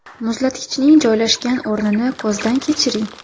Muzlatkichning joylashgan o‘rnini ko‘zdan kechiring.